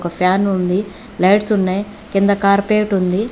fan ఉంది lights ఉన్నాయి కింద కార్పేట్ ఉంది